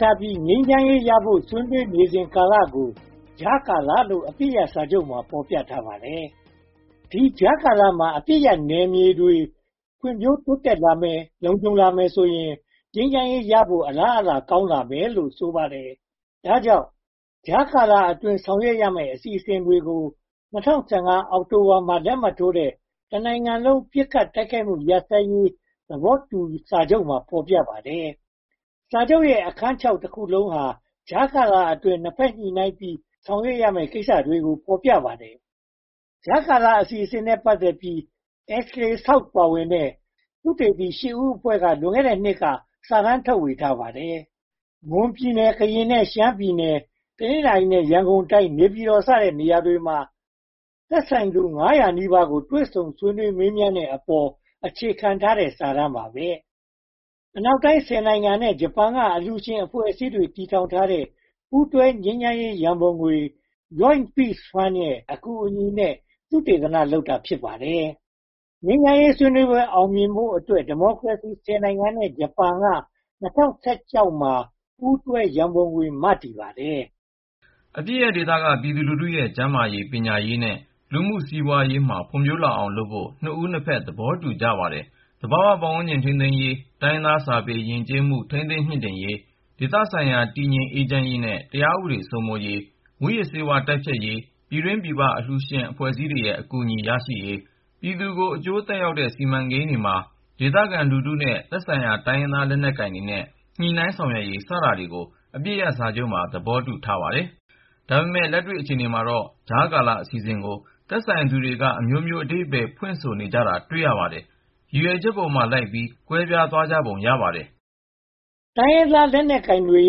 ထားပြီး ငြိမ်းချမ်းရေးရဖို့ ဆွေးနွေးနေစဉ်ကာလကို ကြားကာလလို့ အပစ်ရပ်စာချုပ်မှာ ဖော်ပြထားပါတယ်။ ဒီကြားကာလမှာ အပစ်ရပ်နယ်မြေတွေ ဖွံ့ဖြိုးတိုးတက်လာမယ်၊ လုံခြုံလာမယ်ဆိုရင် ငြိမ်းချမ်းရေးဖို့ အလားအလာကောင်းမယ်လို့ ဆိုပါတယ်။ ဒါကြောင့် “ကြားကာလအတွင်း ဆောင်ရွက်ရမယ့် အစီအစဉ်” တွေကို (၂၀၁၅) အောက်တိုဘာလမှာ လက်မှတ်ထိုးတဲ့ “တနိုင်ငံလုံး ပစ်ခတ်တိုက်ခိုက်မှု ရပ်စဲရေး သဘောတူစာချုပ်” မှာ ဖော်ပြပါတယ်။ စာချုပ်ရဲ့ အခန်း (၆) တခုလုံးဟာ ကြားကာလအတွင်း နှစ်ဘက်ညှိနှိုင်းပြီး ဆောင်ရွက်ရမယ့်ကိစ္စတွေကို ဖော်ပြထားပါတယ်။ ကြားကာလအစီအစဉ်နဲ့ ပတ်သက်ပြီး Ashley South ပါဝင်တဲ့ သုတေသီရှစ်ဦးအဖွဲ့က လွန်ခဲ့တဲ့နှစ်က စာတမ်းထုတ်ဝေထားပါတယ်။ မွန်ပြည်နယ်၊ ကရင်နဲ့ ရှမ်းပြည်နယ်၊ တနင်္သာရီနဲ့ ရန်ကုန်တိုင်း၊ နေပြည်တော်စတဲ့ နေရာတွေမှာ သက်ဆိုင်သူ (၅၀၀) နီးပါးကို တွေ့ဆုံမေးမြန်းတဲ့အပေါ် အခြေခံထားတဲ့ စာတမ်း ဖြစ်ပါတယ်။ အနောက်နိုင်ငံ (၁၀) နိုင်ငံနဲ့ ဂျပန်က အလှူရှင်အဖွဲ့အစည်းတွေ တည်ထောင်ထားတဲ့ ပူးတွဲငြိမ်းချမ်းရေးရန်ပုံငွေ၊ Joint Peace Fund ရဲ့ အကူအညီနဲ့ သုတေသန လုပ်တာ ဖြစ်ပါတယ်။ ငြိမ်းချမ်းရေးဆွေးနွေးပွဲ အောင်မြင်ဖို့အတွက် ဒီမိုကရေစီ (၁၀) နိုင်ငံနဲ့ ဂျပန်က ၂၀၁၆ မှာ ပူးတွဲရန်ပုံငွေ မတည်ပါတယ်။ အပစ်ရပ်ဒေသက ပြည်သူလူထုရဲ့ ကျန်းမာရေး၊ ပညာရေးနဲ့ လူမှုစီးပွားရေးမှာ ဖွံ့ဖြိုးလာအောင်လုပ်ဖို့ နှစ်ဦးနှစ်ဖက် သဘောတူကြပါတယ်။ သဘာဝပတ်ဝန်းကျင် ထိန်းသိမ်းရေး၊ တိုင်းရင်းသားစာပေ ယဉ်ကျေးမှု ထိန်းသိမ်းမြှင့်တင်ရေး၊ ဒေသဆိုင်ရာ တည်ငြိမ်အေးချမ်းရေးနဲ့ တရားဥပဒေစိုးမိုးရေး၊ မူးယစ်ဆေးဝါးတိုက်ဖျက်ရေး၊ ပြည်တွင်းပြည်ပ အလှူရှင်အဖွဲ့အစည်းတွေရဲ့ အကူအညီရယူရေး၊ ပြည်သူကို အကျိုးသက်ရောက်တဲ့ စီမံကိန်းတွေမှာ ဒေသခံလူထုနဲ့ သက်ဆိုင်ရာ တိုင်းရင်းသားလက်နက်ကိုင်တွေနဲ့ ညှိနှိုင်းဆောင်ရွက်ရေး စတာတွေကို အပစ်ရပ်စာချုပ်မှာ သဘောတူထားကြပါတယ်။ ဒါပေမဲ့ လက်တွေ့အခြေအနေမှာတော့ ကြားကာလအစီအစဉ်ကို သက်ဆိုင်သူတွေက အမျိုးမျိုးအဓိပ္ပါယ် ဖွင့်ဆိုနေကြတာကို တွေ့ရပါတယ်။ ရည်ရွယ်ချက်ပေါ်လိုက်ပြီး ကွဲပြားသွားကြတာ ဖြစ်ပုံရပါတယ်။ တိုင်းရင်းသားလက်နက်ကိုင်တွေ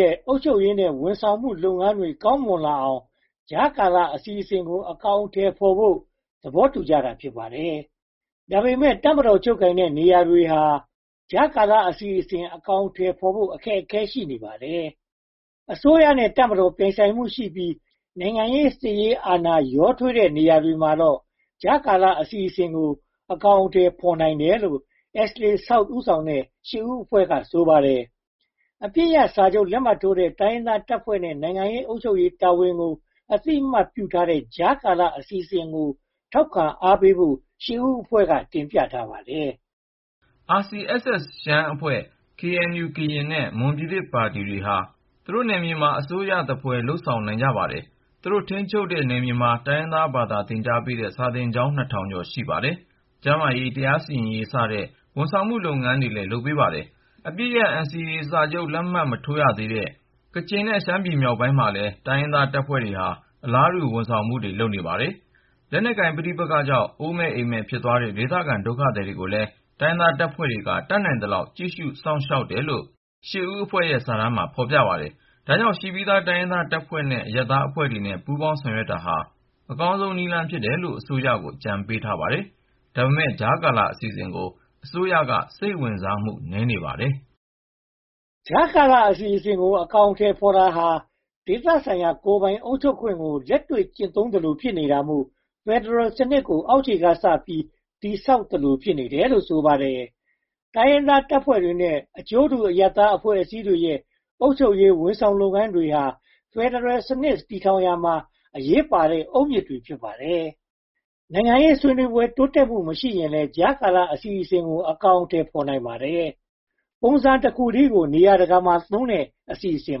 ရဲ့ အုပ်ချုပ်ရေးနဲ့ ဝန်ဆောင်လုပ်ငန်းတွေ ကောင်းမွန်လာအောင် ကြားကာလအစီအစဉ်ကို အကောင်အထည်ဖော်ဖို့ သဘောတူကြတာ ဖြစ်ပါတယ်။ ဒါပေမဲ့ တပ်မတော် ချုပ်ကိုင်ထားတဲ့နေရာတွေမှာ ကြားကာလအစီအစဉ် အကောင်အထည်ဖော်ဖို့ အခက်အခဲ ရှိပါတယ်။ အစိုးရနဲ့ တပ်မတော် ပြိုင်ဆိုင်မှုရှိပြီး နိုင်ငံရေးနဲ့ စစ်ရေး အာဏာ ရောထွေးနေတဲ့ နေရာတွေမှာတော့ ကြားကာလအစီအစဉ်ကို အကောင်အထည်ဖော်နိုင်တယ်လို့ Ashley South ဦးဆောင်တဲ့ ရှစ်ဦးအဖွဲ့က ဆိုပါတယ်။ အပစ်ရပ်စာချုပ် လက်မှတ်ထိုးထားတဲ့ တိုင်းရင်းသားတပ်ဖွဲ့တွေရဲ့ နိုင်ငံရေးနဲ့ အုပ်ချုပ်ရေးတာဝန်ကို အသိအမှတ်ပြုထားတဲ့ ကြားကာလအစီအစဉ်ကို ထောက်ခံအားပေးဖို့ ရှစ်ဦးအဖွဲ့က တင်ပြထားပါတယ်။ RCSS ရှမ်းအဖွဲ့၊ KNU နဲ့ မွန်ပြည်သစ်ပါတီဟာ သူတို့နယ်မြေတွေမှာ အစိုးရသဖွယ် လုပ်ဆောင်နိုင်ကြပါတယ်။ သူတို့ထိန်းချုပ်ထားတဲ့ နယ်မြေတွေမှာ တိုင်းရင်းသားဘာသာစကား သင်ကြားပေးတဲ့ စာသင်ကျောင်း (၂၀၀၀) ကျော် ရှိပါတယ်။ ကျန်းမာရေး၊ တရားစီရင်ရေးစတဲ့ ဝန်ဆောင်လုပ်ငန်းတွေလည်း လုပ်ပေးပါတယ်။ အပစ်ရပ် NCA လက်မှတ်မထိုးသေးထားတဲ့ ကချင်နဲ့ ရှမ်းပြည်နယ် မြောက်ပိုင်းမှာလည်း တိုင်းရင်းသားတပ်ဖွဲ့တွေဟာ အလားတူ ဝန်ဆောင်မှုတွေ လုပ်ပေးပါတယ်။ လက်နက်ကိုင်ပဋိပက္ခကြောင့် အိုးမဲ့အိမ်မဲ့ ဖြစ်သွားခဲ့တဲ့ ဒေသခံဒုက္ခသည်တွေကိုလည်း တိုင်းရင်းသားတပ်ဖွဲ့တွေက တတ်နိုင်သလောက် ကြည့်ရှုစောင့်ရှောက်တယ်လို့ ရှစ်ဦးအဖွဲ့ စာတမ်းမှာ ဖော်ပြထားပါတယ်။ ဒါကြောင့် ရှိပြီးသား တိုင်းရင်းသားတပ်ဖွဲ့တွေနဲ့ အရပ်သားအဖွဲ့တွေနဲ့ ပူးတွဲဆောင်ရွက်တာဟာ အကောင်းဆုံးနည်းလမ်း ဖြစ်တယ်လို့ အစိုးရကို အကြံပေးထားပါတယ်။ ဒါပေမဲ့ ကြားကာလအစီအစဉ်ကို အစိုးရ စိတ်ဝင်စားမှု နည်းနေပါတယ်။ ကြားကာလအစီအစဉ်တွေကို အကောင်အထည်ဖော်တာဟာ ဒေသဆိုင်ရာ ကိုယ်ပိုင်အုပ်ချုပ်ခွင့်ကို လက်တွေ့ကျင့်သုံးသလို ဖြစ်နေတာမို့ ဖယ်ဒရယ်စနစ်ကို အောက်ခြေကစပြီး တည်ဆောက်သလို ဖြစ်နေတယ်လို့ ဆိုပါတယ်။ တိုင်းရင်းသားတပ်ဖွဲ့တွေရဲ့ အကျိုးတူ အရပ်သားအဖွဲ့အစည်းတွေရဲ့ အုပ်ချုပ်ရေးနဲ့ ဝန်ဆောင်လုပ်ငန်းတွေဟာ ဖယ်ဒရယ်စနစ် တည်ဆောက်ရာမှာ အရေးပါတဲ့ အုတ်မြစ်တွေ ဖြစ်ပါတယ်။ နိုင်ငံရေးဆွေးနွေးပွဲတွေ တိုးတက်မှုမရှိရင်လည်း ကြားကာလအစီအစဉ်ကို အကောင်အထည် ဖော်နိုင်ပါတယ်။ ပုံစံတခုတည်းကို နေရာတကာမှာသုံးတဲ့ အစီအစဉ်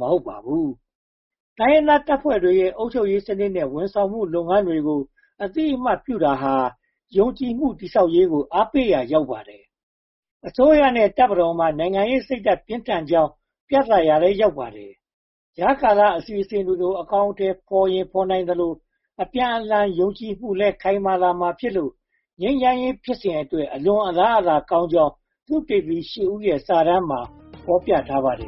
မဟုတ်ပါဘူး။ တိုင်းရင်းသားတပ်ဖွဲ့တွေရဲ့ အုပ်ချုပ်ရေးစနစ်နဲ့ ဝန်ဆောင်မှုလုပ်ငန်းတွေကို အသိအမှတ်ပြုတာဟာ ယုံကြည်မှုတည်ဆောက်ရေးကို အားပေးရာ ရောက်ပါတယ်။ အစိုးရနဲ့ တပ်မတော်မှာ နိုင်ငံရေးစိတ်ဓါတ် ပြင်းထန်ကြောင့် ပြသရာလည်း ရောက်ပါတယ်။ ကြားကာလအစီအစဉ်တွေကို အကောင်အထည် ဖော်ရင်ဖော်သလို အပြန်အလှန်ယုံကြည်မှုလည်း ခိုင်မာလာမှာဖြစ်လို့ ငြိမ်းချမ်းရေးဖြစ်စဉ်အတွက် အလွန်အလားအလာကောင်းကြောင်း သုတေသီ (၈) ဦးရဲ့ စာတမ်းမှာ ဖော်ပြထားပါတယ်